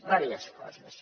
vàries coses